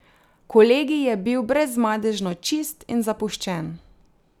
Kolegij je bil brezmadežno čist in zapuščen.